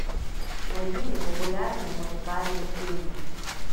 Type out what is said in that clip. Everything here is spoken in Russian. найди мне популярные музыкальные фильмы